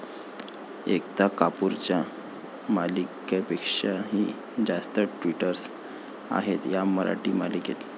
एकता कपूरच्या मालिकांपेक्षाही जास्त ट्विस्ट आहेत या मराठी मालिकेत